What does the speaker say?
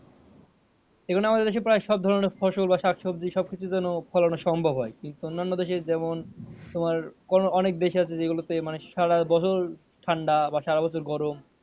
এইজন্য আমাদের দেশে প্রায় সব ধরনের ফসল বা শাকসবজি সব কিছু যেন ফলনের সম্ভব হয় কিন্তু অন্যান্য দেশে যেমন তোমার কোনো অনেক দেশে আছে যেগুলো তে মানে সারা বছর ঠাণ্ডা বা সারা বছর গরম